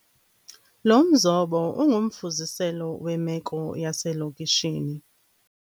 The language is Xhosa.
Lo mzobo ungumfuziselo wemeko yaselokishini.